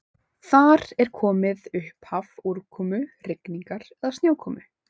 Þar er komið upphaf úrkomu, rigningar eða snjókomu.